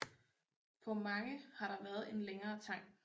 På mange har der været en længere tang